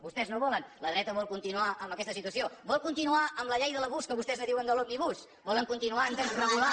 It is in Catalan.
vostès no ho volen la dreta vol continuar amb aquesta situació vol continuar amb la llei de l’abús que vostès en diuen de l’òmnibus volen continuar a desregular